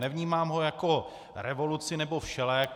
Nevnímám ho jako revoluci nebo všelék.